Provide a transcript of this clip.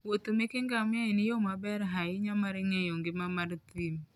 Wuoth meke ngamia en yo maber ahinya mar ng'eyo ngima mar thim.